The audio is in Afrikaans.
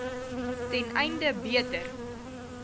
ten einde beter